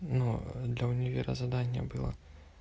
но для универа задание было